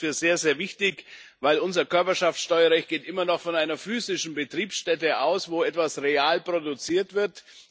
Ich halte das für sehr, sehr wichtig, denn unser Körperschaftsteuerrecht geht immer noch von einer physischen Betriebsstätte aus, wo etwas real produziert wird.